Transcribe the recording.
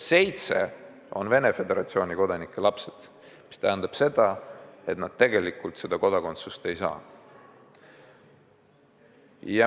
Seitse last on Venemaa Föderatsiooni kodanike lapsed, mis tähendab seda, et nad tegelikult Eesti kodakondsust ei saa.